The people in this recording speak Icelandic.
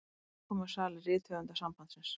Í samkomusal Rithöfundasambandsins.